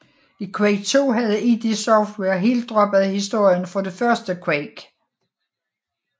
I Quake II havde id Software helt droppet historien fra det første Quake